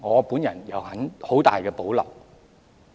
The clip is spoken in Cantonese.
對此，我有很大保留。